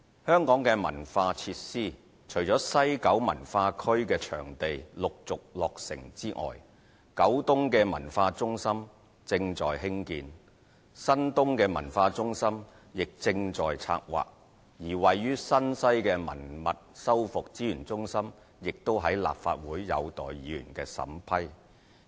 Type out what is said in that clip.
香港的文化設施，除了西九文化區的場地陸續落成外，九龍東的文化中心正在興建，新界東的文化中心亦正在策劃，位於新界西的文物修復資源中心亦在立法會有待議員的審批。